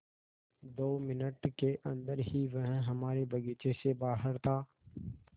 दो मिनट के अन्दर ही वह हमारे बगीचे से बाहर था